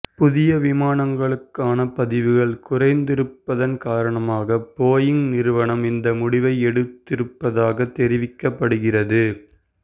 புதிய விமானங்களுக்கான பதிவுகள் குறைந்திருப்பதன் காரணமாக போயிங் நிறுவனம் இந்த முடிவை எடுத்திருப்பதாக தெரிவிக்கப்படுகின்றது